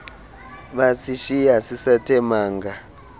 basishiya sisathe manga